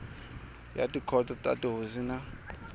ya tikhoto ta tihosi na